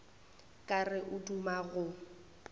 ka re o duma go